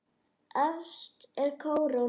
Efst er kóróna.